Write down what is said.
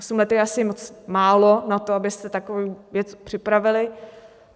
Osm let je asi moc málo na to, abyste takovou věc připravili.